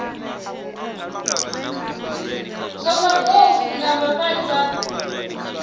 zwa mabofu na vhavhali vha